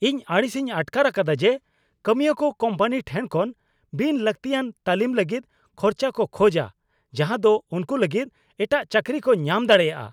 ᱤᱧ ᱟᱹᱲᱤᱥᱤᱧ ᱟᱴᱠᱟᱨ ᱟᱠᱟᱫᱟ ᱡᱮ ᱠᱟᱹᱢᱤᱭᱟᱹᱠᱚ ᱠᱳᱢᱯᱟᱱᱤ ᱴᱷᱮᱱ ᱠᱷᱚᱱ ᱵᱤᱱ ᱞᱟᱹᱠᱛᱤᱭᱟᱱ ᱛᱟᱹᱞᱤᱢ ᱞᱟᱹᱜᱤᱫ ᱠᱷᱚᱨᱪᱟ ᱠᱚ ᱠᱷᱚᱡᱟ ᱡᱟᱦᱟᱸ ᱫᱚ ᱩᱱᱠᱩ ᱞᱟᱹᱜᱤᱫ ᱮᱴᱟᱜ ᱪᱟᱹᱠᱨᱤ ᱠᱚ ᱧᱟᱢ ᱫᱟᱲᱮᱭᱟᱜᱼᱟ ᱾